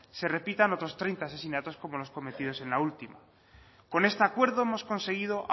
se repitan otros treinta asesinatos como los cometidos en la última con este acuerdo hemos conseguido